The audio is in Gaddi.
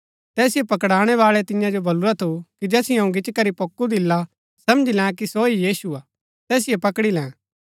तैसिओ पकड़ाणै बाळै तियां जो बलुरा थु कि जैसिओ अऊँ गिच्ची करी पोक्कु दिला समझी लैं कि सो ही यीशु हा तैसिओ पकड़ी लैं